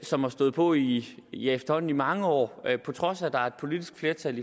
som har stået på i i efterhånden mange år på trods af at der er et politisk flertal